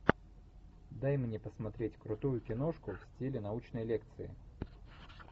дай мне посмотреть крутую киношку в стиле научной лекции